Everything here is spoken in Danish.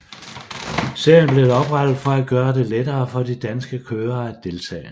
Serien blev oprettet for at gøre det lettere for de danske kørere at deltage